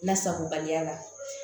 Lasagobaliya la